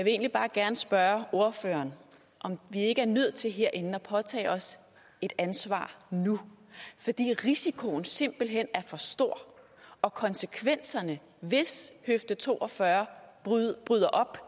egentlig bare gerne spørge ordføreren om vi ikke er nødt til herinde at påtage os et ansvar nu fordi risikoen simpelt hen er for stor og konsekvenserne hvis høfde to og fyrre bryder op